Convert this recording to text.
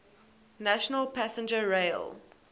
national passenger rail